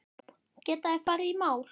Geta þeir farið í mál?